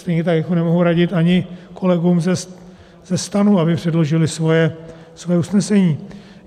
Stejně tak jako nemohu radit ani kolegům ze STAN, aby předložili svoje usnesení.